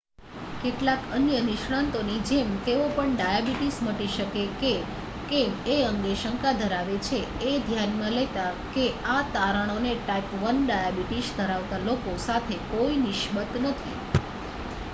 કેટલાક અન્ય નિષ્ણાતોની જેમ તેઓ પણ ડાયાબિટીસ મટી શકે કે કેમ એ અંગે શંકા ધરાવે છે એ ધ્યાનમાં લેતા કે આ તારણોને ટાઈપ 1 ડાયાબિટીસ ધરાવતા લોકો સાથે કોઈ નિસ્બત નથી